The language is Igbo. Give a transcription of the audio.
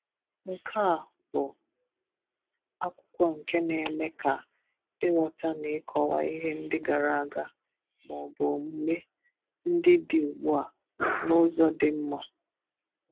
Nkea, bụ akwụkwọ nke na-eme ka ịghọta n'ịkọwa ịhe ndị gara aga, maọbụ omume ndị dị ugbu a n'ụzọ dị mma.